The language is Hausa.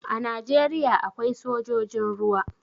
A Najeriya akwai sojojin ruwa.